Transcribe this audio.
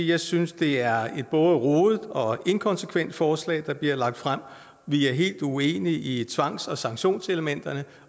jeg synes det er et både rodet og inkonsekvent forslag der bliver lagt frem vi er helt uenige i tvangs og sanktionselementerne